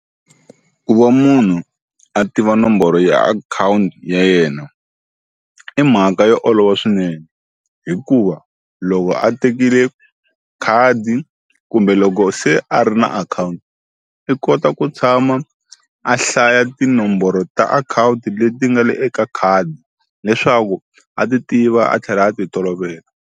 Ku va munhu a tiva nomboro ya akhawunti ya yena i mhaka yo olova swinene hikuva loko a tekile khadi kumbe loko se a ri na akhawunti i kota ku tshama a hlaya tinomboro ta akhawunti leti nga le eka khadi leswaku a ti tiva a tlhela a ti tolovela.